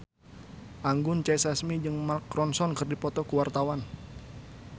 Anggun C. Sasmi jeung Mark Ronson keur dipoto ku wartawan